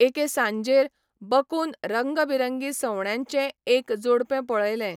एके सांजेर बकून रंगबिरंगी सवण्यांचें एक जोडपें पळयलें.